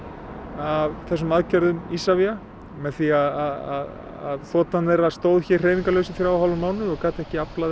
af þessum aðgerðum Isavia með því að þotan þeirra stóð hérna hreyfingarlaus í þrjá og hálfan mánuð og gat ekki aflað